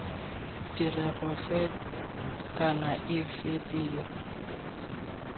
tirego fe kana efe tiro